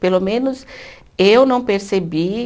Pelo menos, eu não percebi.